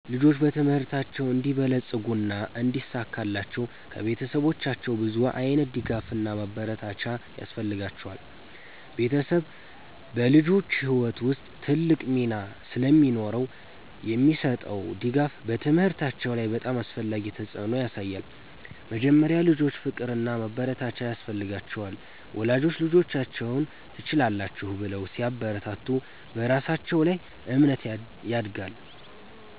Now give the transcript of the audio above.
ልጆች በትምህርታቸው እንዲበለጽጉና እንዲሳካላቸው ከቤተሰቦቻቸው ብዙ ዓይነት ድጋፍና ማበረታቻ ያስፈልጋቸዋል። ቤተሰብ በልጆች ሕይወት ውስጥ ትልቅ ሚና ስለሚኖረው የሚሰጠው ድጋፍ በትምህርታቸው ላይ በጣም አስፈላጊ ተፅዕኖ ያሳያል። መጀመሪያ፣ ልጆች ፍቅርና ማበረታቻ ያስፈልጋቸዋል። ወላጆች ልጆቻቸውን “ትችላላችሁ” ብለው ሲያበረታቱ በራሳቸው ላይ እምነት ያድጋሉ።